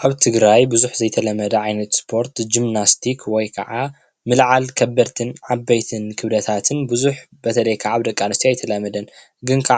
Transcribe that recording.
ኣብ ትግራይ ብዙሕ ዘይተለመደ ዓይነት ስፖርት ጅምናስቲክ ወይ ከዓ ምልዓል ከበድትን ዓበይትን ክብደታትን ብዙሕ በተለይ ከዓ ኣብ ደቅ ኣንስትዮ ኣይተለመደን ።ግን እዚ